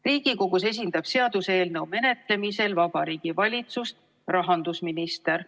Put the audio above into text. Riigikogus esindab seaduseelnõu menetlemisel Vabariigi Valitsust rahandusminister.